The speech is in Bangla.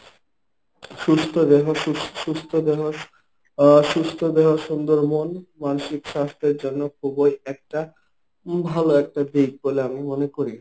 সুস্থ দেহ সুস্থ দেহ অসুস্থ দেহ সুন্দর মন মানসিক স্বাস্থ্যের জন্য খুবই একটা ভালো একটা দিক বলে আমি মনে করি।